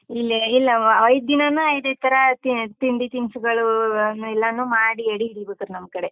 ಇಲ್ಲೆ ಇಲ್ಲ ಅವ ಐದ್ ದಿನಾನೂ ಐದೈದ್ ತರ ತಿಂಡಿ ತಿನ್ಸುಗಳು, ಎಲ್ಲನೂ ಮಾಡಿ, ಎಡಿ ಇಡ ಬೇಕ್ರಿ ನಮ್ ಕಡೆ.